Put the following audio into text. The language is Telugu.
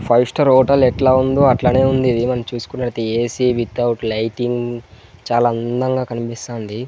ఫైవ్ స్టార్ హోటల్ ఎట్లా ఉందో అట్లానే ఉంది ఏమని చూసుకునేది ఏ_సీ వితౌట్ లైటింగ్ చాలా అందంగా కనిపిస్తాంది.